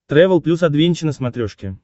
трэвел плюс адвенча на смотрешке